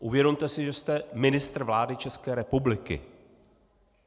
Uvědomte si, že jste ministr vlády České republiky.